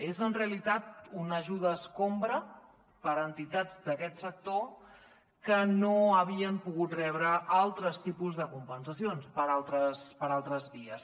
és en realitat una ajuda escombra per a entitats d’aquest sector que no havien pogut rebre altres tipus de compensacions per altres vies